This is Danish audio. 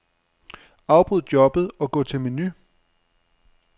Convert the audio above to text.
Afbryd jobbet og gå til menu.